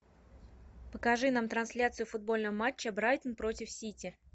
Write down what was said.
покажи нам трансляцию футбольного матча брайтон против сити